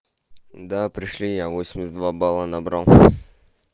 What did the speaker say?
да пришли я восемьдесят два балла набрал